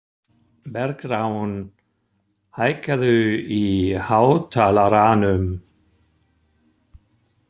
Bergrán, hækkaðu í hátalaranum.